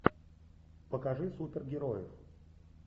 покажи супергероев